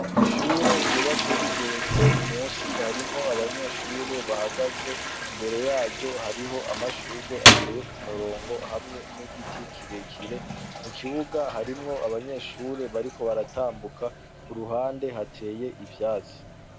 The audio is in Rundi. ishure ryubatse rigeretse musi harimwo abanyeshure bahagaze imbere yaryo hariho amashurwe ateye ku murongo hamwe n'igiti kirekire mu kibuga harimwo abanyeshure bariko baratambuka ku ruhande hateye ivyatsi